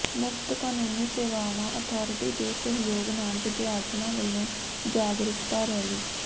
ਮੁਫ਼ਤ ਕਾਨੂੰਨੀ ਸੇਵਾਵਾਂ ਅਥਾਰਟੀ ਦੇ ਸਹਿਯੋਗ ਨਾਲ ਵਿਦਿਆਰਥਣਾਂ ਵਲੋਂ ਜਾਗਰੂਕਤਾ ਰੈਲੀ